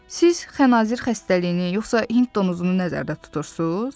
Siz xənazır xəstəliyini yoxsa Hind donuzunu nəzərdə tutursuz?